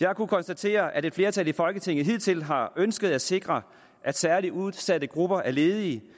jeg har kunnet konstatere at et flertal i folketinget hidtil har ønsket at sikre at særlig udsatte grupper af ledige